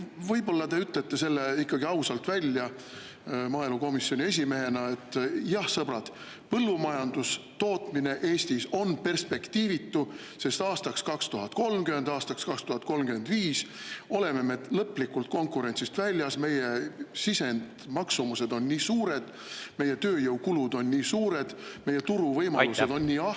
Võib-olla te ütlete selle maaelukomisjoni esimehena ikkagi ausalt välja, et jah, sõbrad, põllumajandustootmine Eestis on perspektiivitu, sest aastaks 2030 või aastaks 2035 oleme me lõplikult konkurentsist väljas, meie sisendmaksumused on nii suured, meie tööjõukulud on nii suured, meie turu võimalused on nii ahtad …